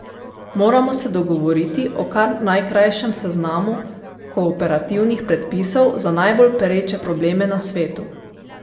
Moramo se dogovoriti o kar najkrajšem seznamu kooperativnih predpisov za najbolj pereče probleme na svetu.